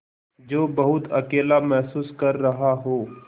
जो बहुत अकेला महसूस कर रहा हो